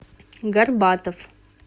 горбатов